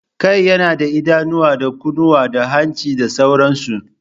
Kai yana da idanuwa, da kunnuwa, da hanci da sauransu